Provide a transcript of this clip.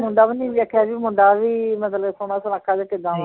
ਮੁੰਡਾ ਵੀ ਨੀ ਵੇਖਿਆ ਬਈ ਮੁੰਡਾ ਵੀ ਮਤਲਬ ਸੋਹਣਾ ਜਾਂ ਕਿੱਦਾਂ ਵਾ